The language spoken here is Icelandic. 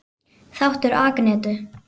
Þáttur Agnetu